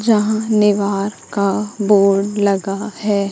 जहां निवार का बोर्ड लगा हैं।